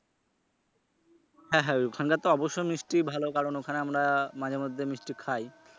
হ্যা হ্যা ওইখানকার তো অবশ্যই মিষ্টি ভালো কারণ ওখানে আমরা মাঝে মধ্যে মিষ্টি খাই।